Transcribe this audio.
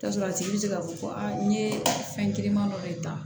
Tasɔrɔ a tigi be se ka fɔ ko aa n ye fɛn giriman dɔ de ta